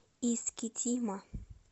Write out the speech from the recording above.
искитима